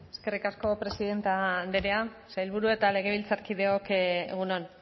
eskerrik asko presidente andrea sailburu eta legebiltzarkideok egun on